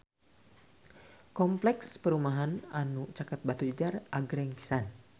Kompleks perumahan anu caket Batujajar agreng pisan